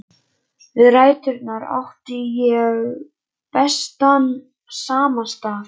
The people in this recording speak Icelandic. Við ræturnar á því átti ég bestan samastað.